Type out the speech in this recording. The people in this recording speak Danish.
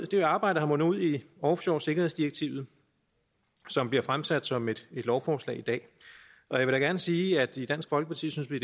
det arbejde er mundet ud i offshoresikkerhedsdirektivet som bliver fremsat som et lovforslag i dag jeg vil gerne sige at i dansk folkeparti synes vi